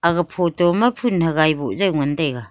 aga photo ma phon hagai boh jao ngan taga.